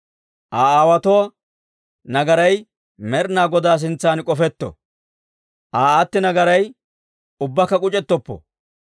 Aa aawotuwaa nagaray Med'inaa Godaa sintsan k'ofetto; Aa aatti nagaray ubbakka k'uc'ettoppo!